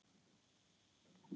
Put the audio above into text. Ég stilli mig.